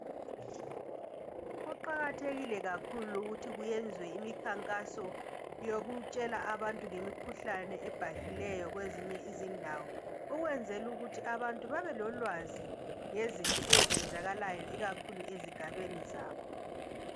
Kuqakathekile kakhulu ukuthi kuyenzwe imikhankaso yokutshela abantu ngemkhuhlane ebhahileyo kwezinye izindawo. Ukwenzel' ukuthi abantu babe lolwazi ngezinto ezenzakalayo ikakhulu ezigabeni zabo.